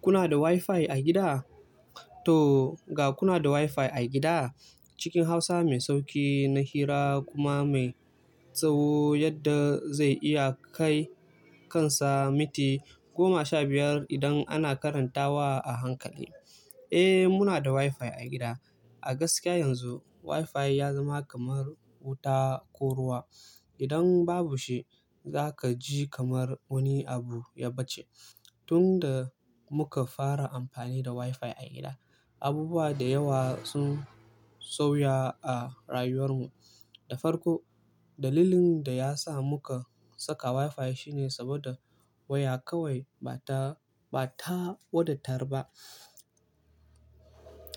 Kuna da Wi-Fi a gida? To ga kuna da Wi-Fi a gida, cikin hausa mai sauƙi na hira kuma mai tsawo yadda zai iya kai kansa miti goma sha biyar idan ana karantawa a hankali. Eh muna da Wi-Fi a gida. A gaskiya yanzu Wi-Fi ya zama kamar wuta ko ruwa. Idan babu shi zaka ji kamar wani abu ya bace. Tun da muka fara amfani da Wi-Fi a gida, abubuwa da yawa sun sauya a rayuwar mu. Da farko dalilin da ya sa muka saka Wi-Fi shine saboda waya kawai bata, bata wadatar ba.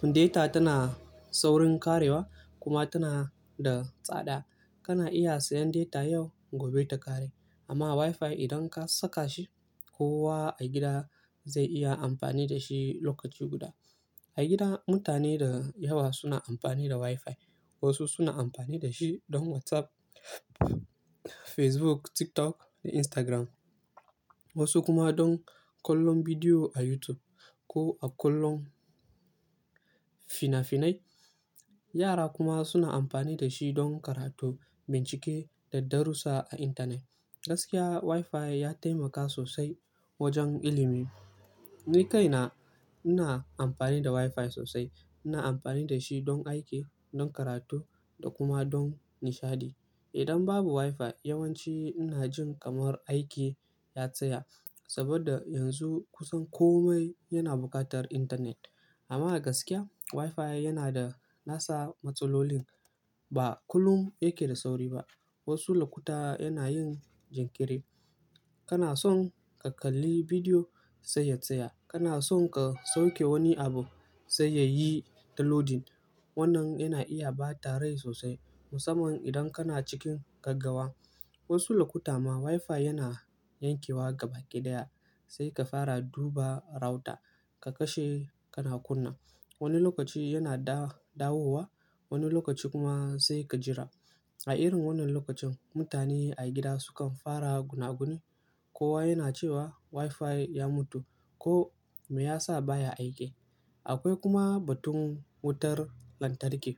Data tana saurin ƙarewa kuma tana da tsada. Kana iya siyan data yau gobe ta ƙare amma Wi-Fi idan ka saka shi kowa a gida zai iya amfani da shi lokaci guda. A gida mutane da yawa suna amfani da Wi-Fi. Wasu suna amfani da shi don WhatsApp, Facebook, TikTok da Instagram. Wasu kuma don kallon bidiyo a YouTube ko a kallon fina-finai. Yara kuma suna amfani da shi don karatu, bincike da darussa a intanet. Gaskiya Wi-Fi ya taimaka sosai wajen ilimi. Ni kaina ina amfani da Wi-Fi sosai. Ina amfani da shi don aiki, don karatu da kuma don nishaɗi. Idan babu Wi-Fi yawanci ina jin kamar aiki ya tsaya saboda yanzu kusan kome yana buƙatar intanet. Amma a gaskiya Wi-Fi yana da nasa matsalolin. Ba kullum yake da sauri ba. Wasu lokuta yana yin jinkiri. Kana son ka kalli bidiyo sai ya tsaya. Kana son ka sauke wani abu sai yayi downloading. Wannan yana iya bata rai sosai musamman idan kana cikin gaggawa. Wasu lokuta ma Wi-Fi yana yankewa gabaƙi daya sai ka fara duba router ka kashe kana kunna. Wani lokaci yana da, dawowa wani lokaci kuma sai ka jira. A irin wannan lokacin mutane a gida sukan fara gunaguni. Kowa yana cewa Wi-Fi ya mutu ko me yasa baya aiki. Akwai kuma batun wutar lantarki.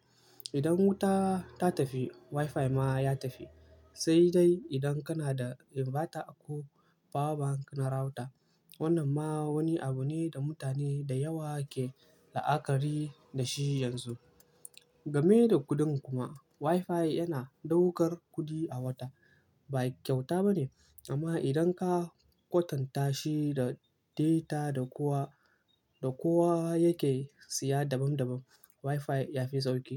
Idan wuta ta tafi Wi-Fi ma ya tafi. Sai dai idan kana da inverter ko power bank na router. Wannan ma wani abu ne da mutane da yawa ke la'akari da shi yanzu. Game da kuɗin kuma Wi-Fi yana ɗaukar kuɗi a wata. Bai kyauta bane amma idan ka kwatanta shi da data da kowa, da kowa yake siya daban daban Wi-Fi yafi sauƙi.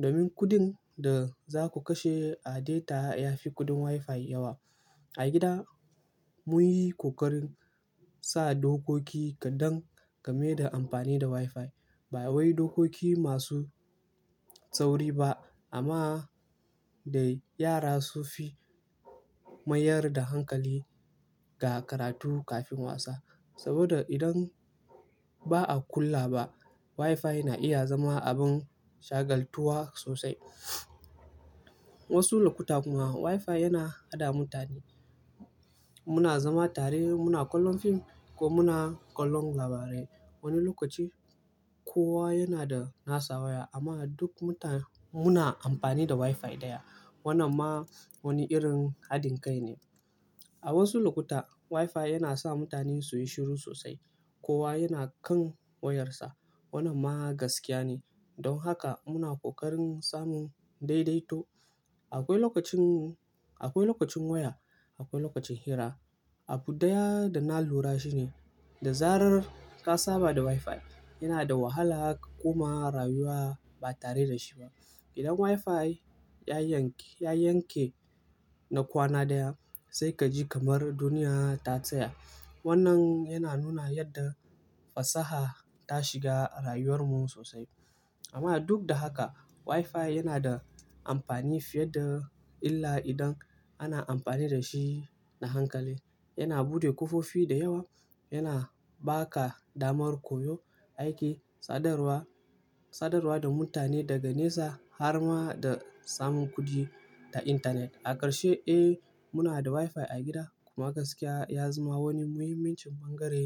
Domin kuɗin da zaku kashe a data ya fi kuɗin Wi-Fi yawa. A gida mun yi ƙoƙarin sa dokoki kadan game da amfani da Wi-Fi. Ba wai dokoki masu tsauri ba amma da yara sufi mayar da hankali ga karatu kafin wasa. Saboda idan ba a kulawa ba Wi-Fi na iya zama abin shagaltuwa sosai. Wasu lokuta kuma Wi-Fi yana haɗa mutane. Muna zama tare muna kallon fim ko muna kallon labarai. Wani lokaci kowa yana da nasa waya amma duk mutane muna amfani da Wi-Fi ɗaya. Wannan ma wani irin haɗin kai ne. A wasu lokuta Wi-Fi yana sa mutane suyi shiru sosai. Kowa yana kan wayarsa. Wannan ma gaskiya ne. Don haka muna ƙoƙarin samun daidaito. Akwai lokacin, akwai lokacin waya, akwai lokacin hira. Abu ɗaya da na lura shi ne da zarar ka saba da Wi-Fi yana da wahala ka koma rayuwa ba tare da shi ba. Idan Wi-Fi ya yank, ya yanke na kwana ɗaya sai ka ji kamar duniya ta tsaya. Wannan yana nuna yadda fasaha ta shiga rayuwar mu sosai. Amma duk da haka Wi-Fi yana da amfani fiye da illa idan ana amfani da shi da hankali. Yana bude ƙofofi da yawa, yana baƙa damar koyo, aiki, sadarwa, sadarwa da mutane daga nesa har ma da samun kuɗi ta intanet. A ƙarshe eh muna da Wi-Fi a gida kuma gaskiya ya zama wani muhimmin cin bangare.